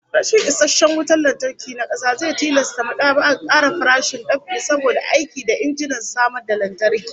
Rashin isasshen wutan lantarki na kasa zai tilasta mad'aba'ar kara farashin dab'i saboda aiki da injinan samar da lantarki